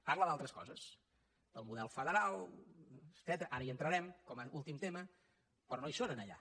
parla d’altres coses del model federal etcètera ara hi entrarem com a últim tema però no hi són allà